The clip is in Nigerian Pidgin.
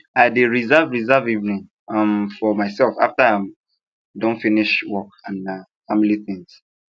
i dey reserve reserve evening um for myself after i um don finish work and family tings